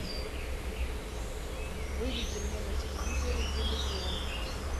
выведи мне на телевизоре иллюзион